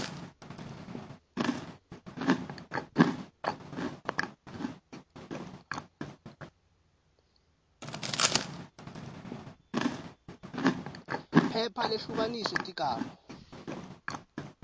phepha lehlukaniswe tigaba